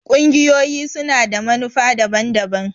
ƙungiyoyi su na da manufa daban-daban.